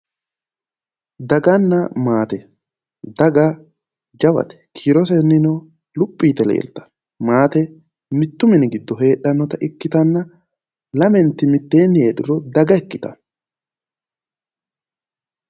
Daganna maate, daga jawate kiirosennino luphi yite leeltanno, maate mittu mini giddo heedhannota ikkitanna lamenti mitteenni heedhuro daga ikkitanno